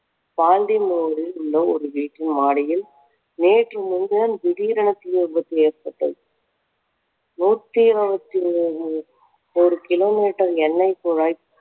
உள்ள ஒரு வீட்டின் மாடியில் நேற்று முன்தினம் திடீரென தீ விபத்து ஏற்பட்டது நூத்தி இறுபத்தி ஏழு ஓரு kilo meter என்னைக் குழாய்